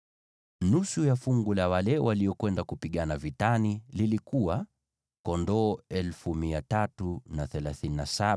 Nusu ya fungu la wale waliokwenda kupigana vitani lilikuwa: Kondoo 337,500